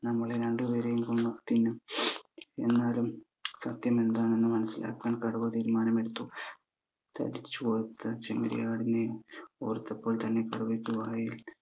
നമ്മളെ രണ്ട് പേരെയും കൊന്ന് തിന്നും എന്നാലും സത്യം എന്താണെന്ന് മനസിലാക്കാൻ കടുവ തീരുമാനമെടുത്തു തടിച്ചു കൊഴുത്ത ചെമ്മരിയാടിനെ ഓർത്തപ്പോൾ തന്നെ കടുവയ്ക്ക്